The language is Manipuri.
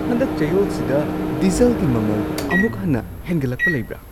ꯍꯟꯗꯛ ꯆꯌꯣꯜꯁꯤꯗ ꯗꯤꯖꯜꯒꯤ ꯃꯃꯜ ꯑꯃꯨꯛ ꯍꯟꯅ ꯍꯦꯟꯒꯠꯂꯛꯄ ꯂꯩꯕ꯭ꯔꯥ?